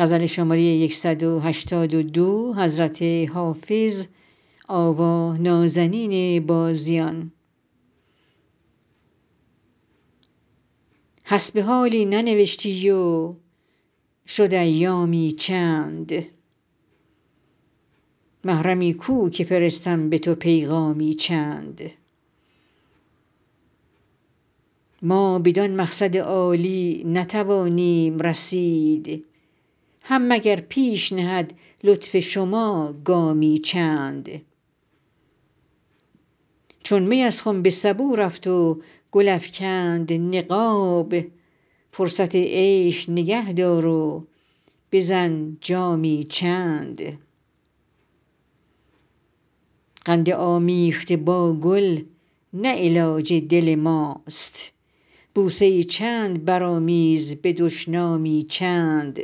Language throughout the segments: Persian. حسب حالی ننوشتی و شد ایامی چند محرمی کو که فرستم به تو پیغامی چند ما بدان مقصد عالی نتوانیم رسید هم مگر پیش نهد لطف شما گامی چند چون می از خم به سبو رفت و گل افکند نقاب فرصت عیش نگه دار و بزن جامی چند قند آمیخته با گل نه علاج دل ماست بوسه ای چند برآمیز به دشنامی چند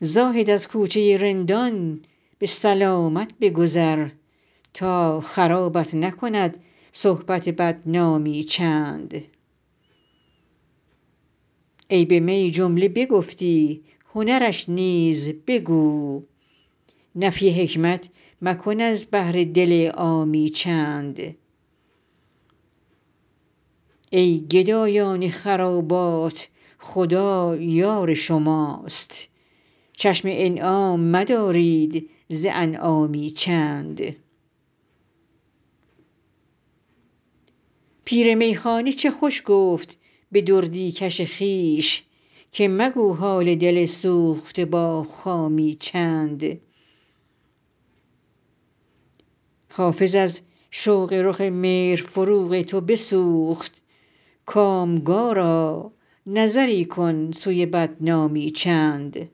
زاهد از کوچه رندان به سلامت بگذر تا خرابت نکند صحبت بدنامی چند عیب می جمله چو گفتی هنرش نیز بگو نفی حکمت مکن از بهر دل عامی چند ای گدایان خرابات خدا یار شماست چشم انعام مدارید ز انعامی چند پیر میخانه چه خوش گفت به دردی کش خویش که مگو حال دل سوخته با خامی چند حافظ از شوق رخ مهر فروغ تو بسوخت کامگارا نظری کن سوی ناکامی چند